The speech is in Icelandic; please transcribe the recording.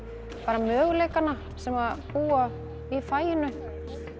möguleikana sem búa í faginu